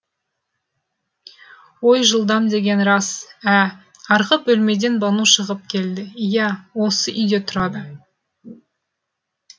ой жылдам деген рас ә арғы бөлмеден бану шығып келді ия осы үйде тұрады